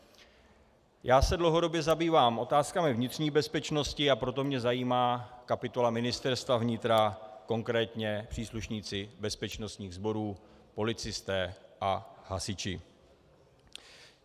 Já se dlouhodobě zabývám otázkami vnitřní bezpečnosti, a proto mě zajímá kapitola Ministerstva vnitra, konkrétně příslušníci bezpečnostních sborů, policisté a hasiči.